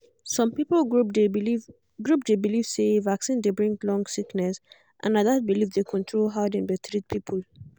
some people group dey believe group dey believe say vaccine dey bring long sickness and na that belief dey control how dem dey treat people.